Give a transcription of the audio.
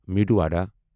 meadow وڈا